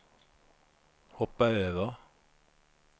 hoppa över